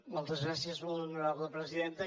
moltes gràcies molt honorable presidenta